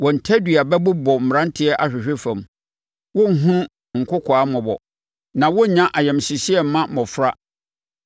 Wɔn tadua bɛbobɔ mmeranteɛ ahwehwe fam; wɔrenhunu nkokoaa mmɔbɔ na wɔrennya ayamhyehyeɛ mma mmɔfra.